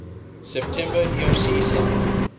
september erc signed